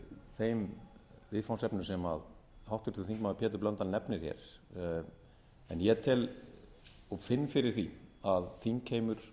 þeim viðfangsefnum sem háttvirtur þingmaður pétur blöndal nefnir hér en ég tel og finn fyrir því að þingheimur